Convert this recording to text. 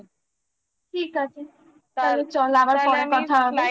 ঠিক আছে তাহলে চল আবার পরে কথা হবে